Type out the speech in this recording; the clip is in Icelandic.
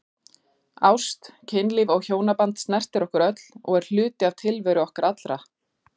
Ást, kynlíf og hjónaband snertir okkur öll og er hluti tilveru okkar allra.